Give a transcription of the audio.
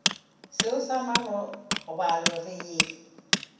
seo sa marobalo re ye